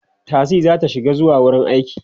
taxi zata shiga zuwa wurin aiki